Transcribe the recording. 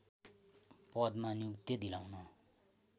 पदमा नियुक्ति दिलाउन